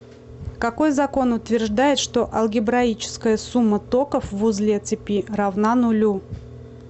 какой закон утверждает что алгебраическая сумма токов в узле цепи равна нулю